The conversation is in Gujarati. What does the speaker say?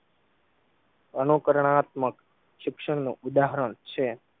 અનુકરણાત્મક શિક્ષણ નું ઉદાહરણ છે.